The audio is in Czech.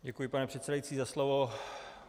Děkuji, pane předsedající, za slovo.